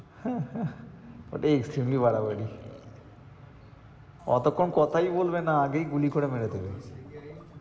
হ্যাঁ, হ্যাঁ extremely বাড়াবাড়ি অতক্ষণ কথাই বলবে না আগেই গুলি করে মেরে দেবে।